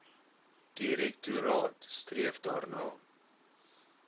direktoraat streef daarna